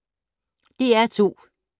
DR2